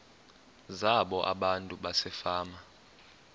zabo abantu basefama